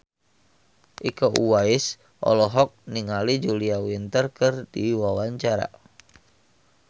Iko Uwais olohok ningali Julia Winter keur diwawancara